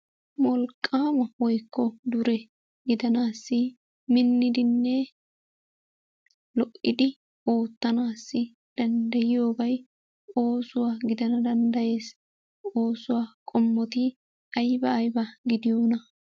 Wolqqaama woyikko dure gidanaaassi minnidinne lo"idi oottanaassi dandayiyoobay oosuwa gidana dandayes. Oosuwa qommoti ayiba ayiba gidiyoonaa?